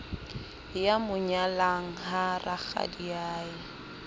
ya mo nyalang ha rakgadiae